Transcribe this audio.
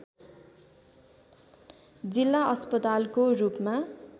जिल्ला अस्पतालको रूपमा